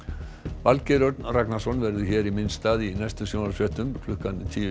Valgeir Örn Ragnarsson verður hér í minn stað í næstu sjónvarpsfréttum klukkan tíu